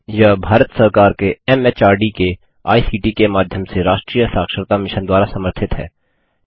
यह भारत सरकार के एमएचआरडी के आईसीटी के माध्यम से राष्ट्रीय साक्षरता मिशन द्वारा समर्थित है